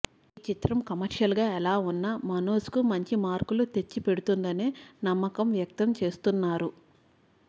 ఈ చిత్రం కమర్షియల్గా ఎలా ఉన్నా మనోజ్కు మంచి మార్కులు తెచ్చి పెడుతుందనే నమ్మకం వ్యక్తం చేస్తున్నారు